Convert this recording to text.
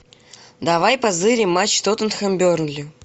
давай позырим матч тоттенхэм бернли